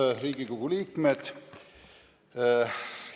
Head Riigikogu liikmed!